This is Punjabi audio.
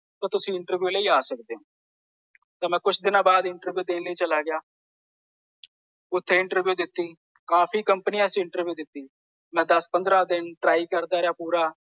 ਤੋਂ ਤੁਸੀਂ ਇੰਟਰਵਿਊ ਲਈ ਆ ਸਕਦੇ ਹੋ। ਤੋਂ ਮੈਂ ਕੁੱਝ ਦਿਨਾਂ ਬਾਅਦ ਹੀ ਇੰਟਰਵਿਊ ਦੇਣ ਲਈ ਚਲਾ ਗਿਆ। ਉਥੇ ਇੰਟਰਵਿਊ ਦਿੱਤੀ। ਕਾਫ਼ੀ ਕੰਪਨੀ ਚ ਇੰਟਰਵਿਊ ਦਿੱਤੀ। ਮੈਂ ਦੱਸ ਪੰਦਰਾਂ ਦਿਨ ਟਰਾਈ ਕਰਦਾ ਰਿਹਾ ਪੂਰਾ।